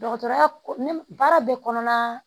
Dɔgɔtɔrɔya ko ne baara bɛ kɔnɔna